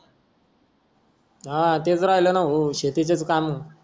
हा तेच राहिला ना भाऊ शेतीच काम